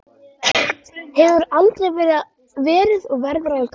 Hefur aldrei verið og verður aldrei!